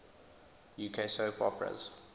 uk soap operas